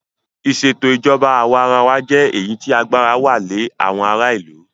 Ìsètò ìjọba àwa arawa jẹ́ èyí tí agbára wà lẹ àwọn ará ìlú.